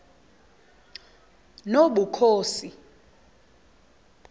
nobukhosi